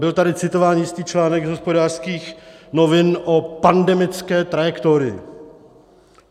Byl tady citován jistý článek z Hospodářských novin o pandemické trajektorii.